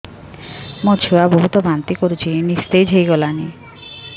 ମୋ ଛୁଆ ବହୁତ୍ ବାନ୍ତି କରୁଛି ନିସ୍ତେଜ ହେଇ ଗଲାନି